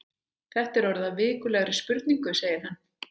Þetta er orðið að vikulegri spurningu segir hann.